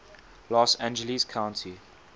los angeles county